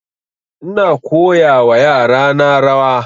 Ina koya wa yara na rawa